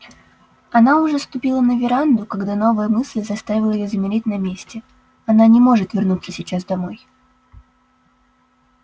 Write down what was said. она уже ступила на веранду когда новая мысль заставила её замереть на месте она не может вернуться сейчас домой